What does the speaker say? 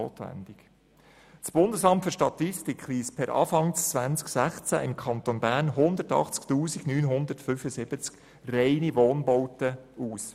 Das Bundesamt für Statistik (BFS) weist für den Kanton Bern per Anfang 2016 180 975 reine Wohnbauten aus.